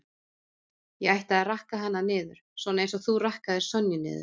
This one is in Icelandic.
Ég ætti að rakka hana niður, svona eins og þú rakkaðir Sonju niður